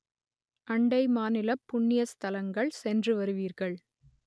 அண்டை மாநிலப் புண்ணிய ஸ்தலங்கள் சென்று வருவீர்கள்